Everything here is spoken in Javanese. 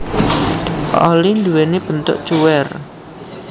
Oli nduwéni bentuk cuwèr